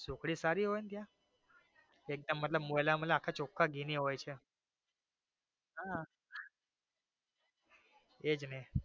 સુખડી સારી હોઈ ને ત્યાં એકદમ મતલબ મોલા મોલા આખા ચોખા ઘી ની હોઈ છે હા એજ ને.